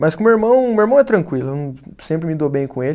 Mas com o meu irmão, o meu irmão é tranquilo, eu não, sempre me dou bem com ele.